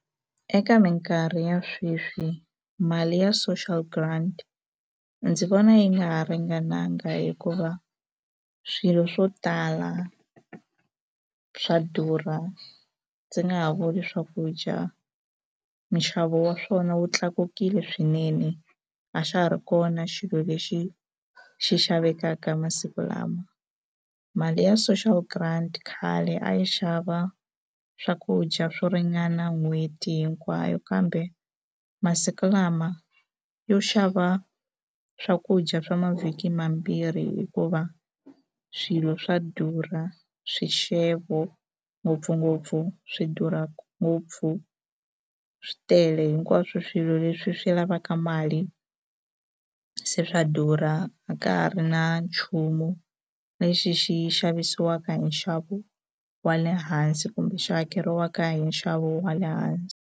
Eka mikarhi ya sweswi mali ya social grant ndzi vona yi nga ha ringananga hikuva swilo swo tala swa durha ndzi nga ha vuli swakudya minxavo wa swona wu tlakukile swinene a xa ha ri kona xilo lexi xi xavekaka masiku lama mali ya social grant khale a yi xava swakudya swo ringana n'hweti hinkwayo kambe masiku lama yo xava swakudya swa mavhiki mambirhi hikuva swilo swa durha swixevo ngopfungopfu swi durhaka ngopfu swi tele hinkwaswo swilo leswi swi lavaka mali se swa durha a ka ha ri na nchumu lexi xi xavisiwaka hi nxavo wa le hansi kumbe xi hakeriwaka hi nxavo wa le hansi.